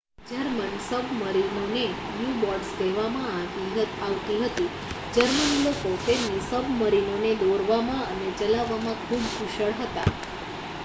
German સબમરીનોને U-boats કહેવામાં આવતી હતી જર્મન લોકો તેમની સબમરીનોને દોરવામાં અને ચલાવવામાં ખૂબ કુશળ હતા